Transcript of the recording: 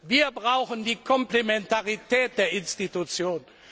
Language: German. Wir brauchen die Komplementarität der Institutionen.